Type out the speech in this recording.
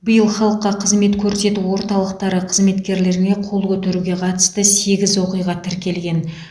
биыл халыққа қызмет көрсету орталықтары қызметкерлеріне қол көтеруге қатысты сегіз оқиға тіркелген